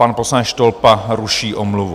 Pan poslanec Štolpa ruší omluvu.